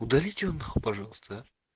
удалите его нахуй пожалуйста а